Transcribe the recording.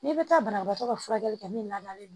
N'i bɛ taa banabagatɔ ka furakɛli kɛ min ladalen do